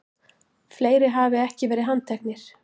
Fleiri hafi ekki verið handteknir